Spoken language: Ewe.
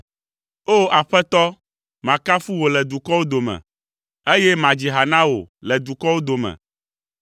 O! Aƒetɔ, makafu wò le dukɔwo dome, eye madzi ha na wò le dukɔwo dome,